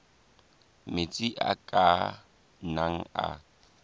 metsi a ka nnang a